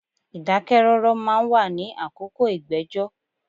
Ìdákẹ́ rọ́rọ́ ma ń wà ní àkókò ìgbẹ́jọ́.